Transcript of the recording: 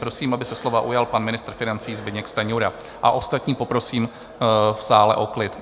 Prosím, aby se slova ujal pan ministr financí Zbyněk Stanjura, a ostatní poprosím v sále o klid.